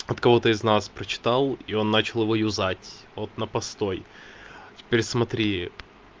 от кого-то из нас прочитал и он начал его юзать вот на постой теперь смотри